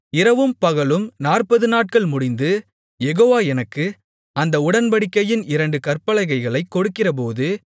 இரவும் பகலும் நாற்பதுநாட்கள் முடிந்து யெகோவா எனக்கு அந்த உடன்படிக்கையின் இரண்டு கற்பலகைகளைக் கொடுக்கிறபோது